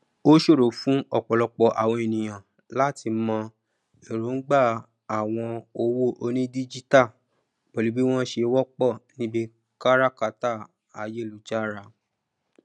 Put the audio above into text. o sòro fún ọpọlọpọ àwon èniyàn latí mọ èròǹgbà àwọn owó onídíjítà pẹlú bí wọn sé wọpọ níbí káràkátà ayélujára